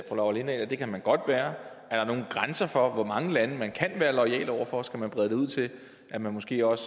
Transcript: fru laura lindahl at det kan man godt være er der nogen grænser for hvor mange lande man kan være loyal over for skal man brede det ud til at man måske også